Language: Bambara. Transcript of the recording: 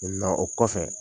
o kɔfɛ